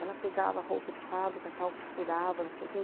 Ela pegava roupa de fábrica, tal, costurava, não sei o quê.